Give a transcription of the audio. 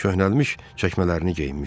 Köhnəlmiş çəkmələrini geyinmişdi.